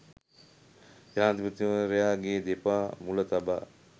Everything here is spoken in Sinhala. ජනාධිපතිවරයාගේ දෙපා මුල තබා